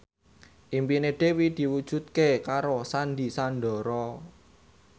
impine Dewi diwujudke karo Sandy Sandoro